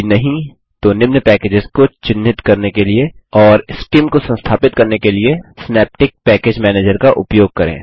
यदि नहीं तो निम्न पैकेजेस को चिन्हित करने के लिए और सीआईएम को संस्थापित करने के लिए सिनैप्टिक पैकेज मैनेजर का उपयोग करें